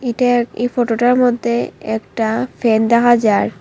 এটায় এই ফোটোটার মদ্যে একটা ফ্যান দেখা যার